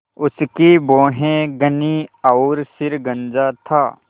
उसकी भौहें घनी और सिर गंजा था